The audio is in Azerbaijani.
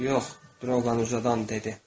Yox, Droban uzadan dedi.